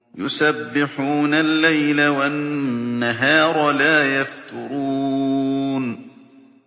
يُسَبِّحُونَ اللَّيْلَ وَالنَّهَارَ لَا يَفْتُرُونَ